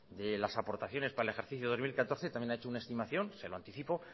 de las aportaciones para el ejercicio dos mil catorce también ha hecho una estimación se lo anticipo